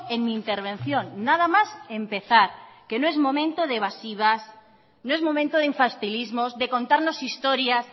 en mi intervención nada más empezar que no es momento de evasivas no es momento de infantilismos de contarnos historias